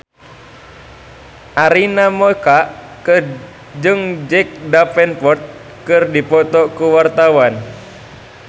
Arina Mocca jeung Jack Davenport keur dipoto ku wartawan